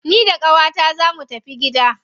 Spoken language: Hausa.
Ni da qawata zaa mu tafi gida.